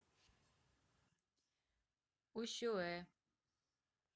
усюэ